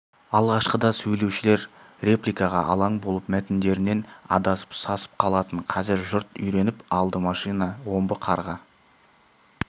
алғашқыда сөйлеушілер репликаға алаң болып мәтіндерінен адасып сасып қалатын қазір жұрт үйреніп алды машина омбы қарға